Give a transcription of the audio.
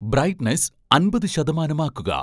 brightness അമ്പത് ശതമാനമാക്കുക